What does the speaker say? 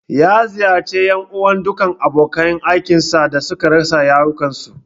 Ya ziyarci ƴan uwan ​​dukkan abokan aikin sa da suka rasa rayukansu.